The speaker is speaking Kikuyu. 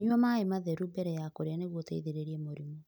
Nyua maĩ matheru mbere ya kũrĩa nĩguo ũteithĩrĩrie mũrimũ.